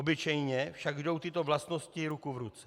Obyčejně však jdou tyto vlastnosti ruku v ruce.